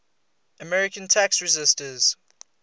american tax resisters